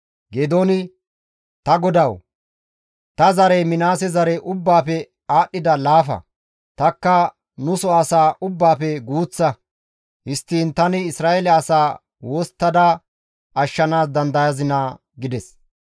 Geedooni, «Ta Godawu, Ta zarey Minaase zare ubbaafe aadhdhida laafa; tanikka nuso asaa ubbaafe guuththa; histtiin tani Isra7eele asaa wosttada ashshanaas dandayazinaa?» gides.